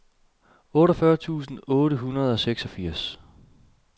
otteogfyrre tusind otte hundrede og seksogfirs